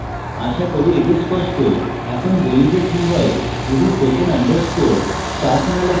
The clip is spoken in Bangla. আশা করি এটি স্পষ্ট এখন বলি যে কি হয় যদি আপনি session _ start now লেখেন